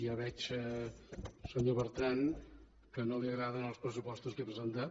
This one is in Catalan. ja veig senyor bertran que no li agraden els pressupostos que he presentat